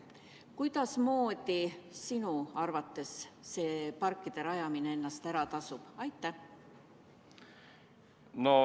Kuidasmoodi sinu arvates see parkide rajamine ennast ära tasub?